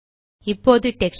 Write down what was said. இப்போது டெக்ஸ்சர்